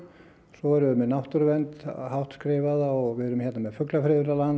svo erum við með náttúruvernd hátt skrifaða og við erum hér með